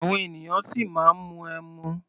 Àwọn ènìyàn ṣì máa ń mu ẹmu.